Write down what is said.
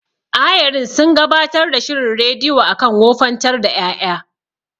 Ayarin sun gabatar da shirin rediyo akan wofantar da ƴaƴa.